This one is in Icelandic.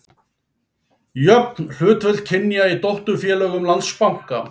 Jöfn hlutföll kynja í dótturfélögum Landsbanka